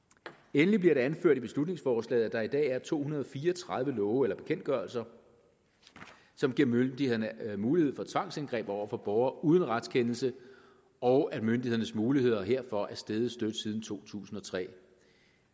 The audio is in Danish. endelig bliver det anført i beslutningsforslaget at der i dag er to hundrede og fire og tredive love eller bekendtgørelser som giver myndighederne mulighed for tvangsindgreb over for borgere uden retskendelse og at myndighedernes muligheder herfor er steget støt siden to tusind og tre